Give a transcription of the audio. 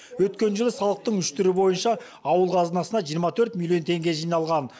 өткен жылы салықтың үш түрі бойынша ауыл қазынасына жиырма төрт миллионн теңге жиналған